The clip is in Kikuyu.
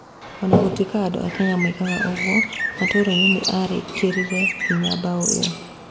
O na gũtuĩka andũ a Kenya moigaga ũguo, mũtuanĩri nĩ arĩkĩrire hinya bao ĩyo.